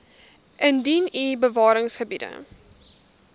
indien u bewaringsgebiede